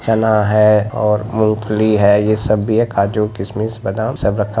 चना है और मूँगफली है| ये सब भी है काजू किशमिश बादाम सब रखा--